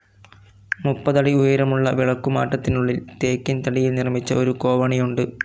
മുപ്പതടി ഉയരമുളള വിളക്കുമാറ്റത്തിനുളളിൽ ടീക്ക്‌ തടിയിൽ നിർമിച്ച ഒരു കോവണിയുണ്ട്.